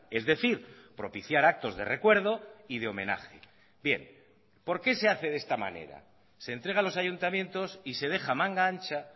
es decir propiciar actos de recuerdo y de homenaje bien por qué se hace de esta manera se entrega a los ayuntamientos y se deja manga ancha